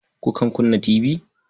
Kukan kunna tibi?